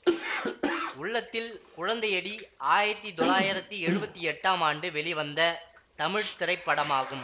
உள்ளத்தில் குழந்தையடி ஆயத்தி தொள்ளாயிரத்தி எழுவத்தி எட்டாம் ஆண்டு வெளிவந்த தமிழ் திரைப்படமாகும்